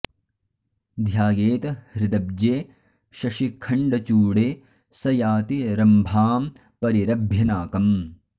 ध्यायेत् हृदब्जे शशिखण्डचूडे स याति रम्भां परिरभ्य नाकम्